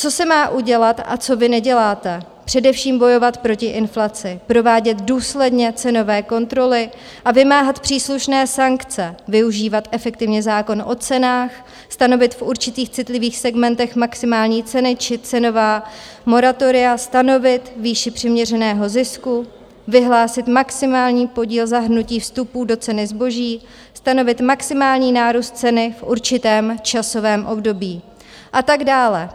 Co se má udělat a co vy neděláte, především bojovat proti inflaci, provádět důsledně cenové kontroly a vymáhat příslušné sankce, využívat efektivně zákon o cenách, stanovit v určitých citlivých segmentech maximální ceny či cenová moratoria, stanovit výši přiměřeného zisku, vyhlásit maximální podíl zahrnutí vstupů do ceny zboží, stanovit maximální nárůst ceny v určitém časovém období a tak dále.